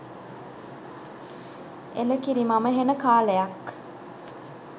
එලකිරි මම හෙන කාලයක්